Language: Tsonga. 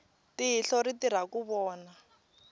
tihlo ri tirha ku vona